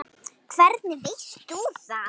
Hvernig veist þú það?